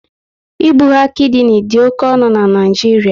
Ibugha kidini dị oké ọnụ na Naịjiria